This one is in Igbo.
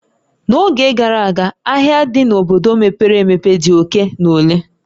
N'oge gara aga, ahịa dị n'obodo mepere emepe dị oke na ole